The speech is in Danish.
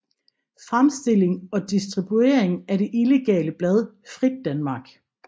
Fremstilling og distribuering af det illegale blad Frit Danmark